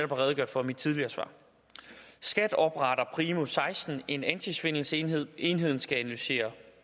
redegjort for i mit tidligere svar skat opretter primo og seksten en antisvindelenhed enheden skal analysere